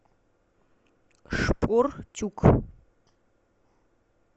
шпортюк